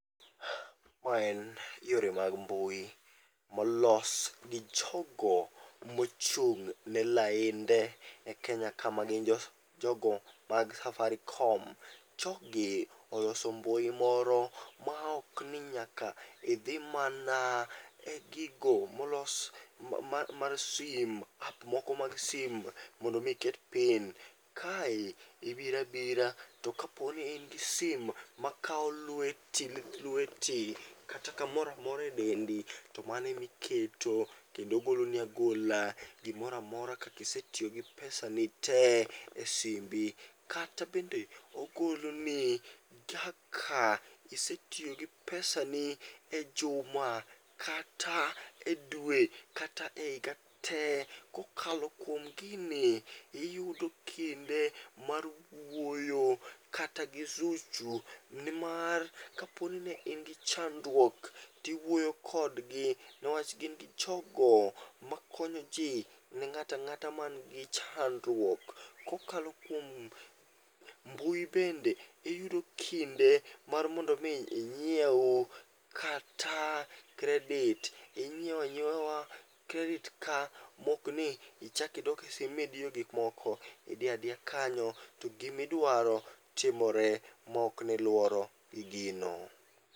Ma en yore mag mbui molos gi jogo mochung' ne lainde e Kenya ka ma gin jo jogo mag Safaricom. Jogi oloso mbui moro maok ni nyaka idhi mana e gigo molos mar sim, ap moko mag sim mondo mi iket pin. Kae ibirabira to kaponi in gi sim ma kao lweti lith lweti kata kamoramora e dendi to mano emiketo kendo goloni agola gimoramora kakisetiyo gi pesa ni te e simbi. Kata bende ogoloni kaka isetiyo gi pesa ni e juma kata e dwe kata e higa te. Kokalo kuom gini iyudo kinde mar wuoyo kata gi Zuchu nimar kaponi ne in gi chandruok tiwuoyo kodgi, newach gin gi jogo makonyoji ne ng'atang'ata man gi chandruok. Kokalo kuom mbui bende iyudo kinde mar mondo mi minyiew kata kredit, inyiewa nyiewa kredit ka mokni ichakidok e simu midiyo gikmoko. Idiyadiya kanyo to gimidwaro timore maokni iluoro e gino.